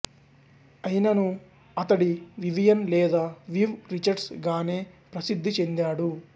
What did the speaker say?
అయిననూ అతడు వివియన్ లేదా Viv Richards గానే ప్రసిద్ధి చెండాడు